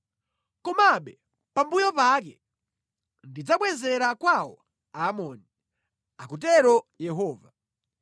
“Komabe pambuyo pake, ndidzabwezera kwawo Aamoni,” akutero Yehova.